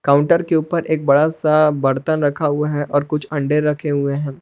Counter के ऊपर एक बड़ा सा बर्तन रखा हुआ है और कुछ अंडे रखे हुए हैं।